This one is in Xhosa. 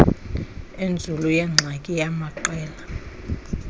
enzulu yengxaki yamaqela